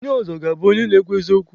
Onye ọzọ ga-abụ onye na-ekwu eziokwu.